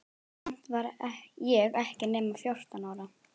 Samt var ég ekki nema fjórtán ára.